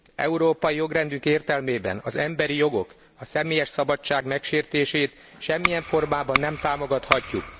Európai jogrendünk értelmében az emberi jogok, a személyes szabadság megsértését semmilyen formában nem támogathatjuk.